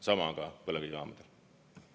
Sama on ka põlevkivijaamadel.